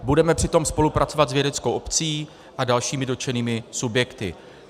Budeme přitom spolupracovat s vědeckou obcí a dalšími dotčenými subjekty.